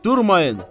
Durmayın!